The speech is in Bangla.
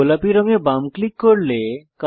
গোলাপী রং এ বাম ক্লিক করুন